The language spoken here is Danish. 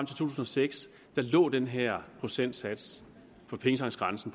to tusind og seks lå den her procentsats på pengetanksgrænsen